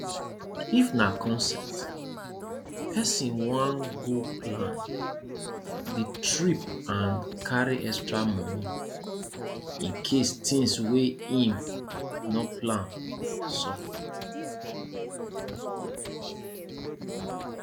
if na concert person wan go plan di trip and carry extra money incase thins wey im no plan sup